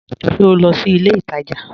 Ṣe o nlọ sí ilẹ̀ ìtaja?